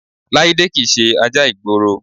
Láídé kì í ṣe ajá ìgboro